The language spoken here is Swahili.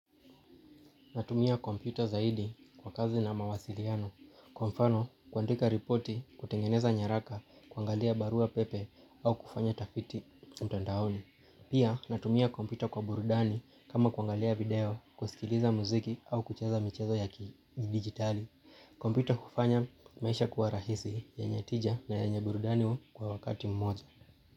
Natumia kompyuta zaidi kwa kazi na mawasiliano. Kwa mfano kuandika ripoti kutengeneza nyaraka kuangalia barua pepe au kufanya utafiti mtandaoni. Pia natumia kompyuta kwa burudani kama kuangalia video kusikiliza muziki au kucheza michezo ya kidigitali. Kompyuta hufanya maisha kuwa rahisi yenye tija na yenye burudani wa kwa wakati mmoja.